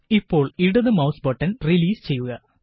ഇപ്പോള് ഇടത് mouse button release ചെയ്യുക